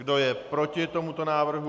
Kdo je proti tomuto návrhu?